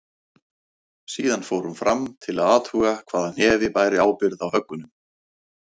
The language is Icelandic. Síðan fór hún fram til að athuga hvaða hnefi bæri ábyrgð á höggunum.